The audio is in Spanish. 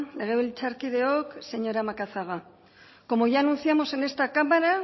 legebiltzarkideok señora macazaga como ya anunciamos en esta cámara